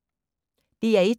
DR1